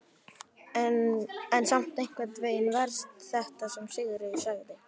En samt einhvern veginn verst þetta sem Sigríður sagði.